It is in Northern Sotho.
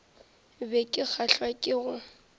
be ke kgahlwa ke go